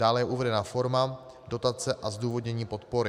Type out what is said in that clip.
Dále je uvedena forma dotace a zdůvodnění podpory.